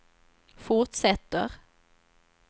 fortsätter